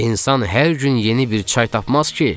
"İnsan hər gün yeni bir çay tapmaz ki."